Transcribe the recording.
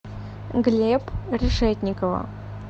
глеб решетникова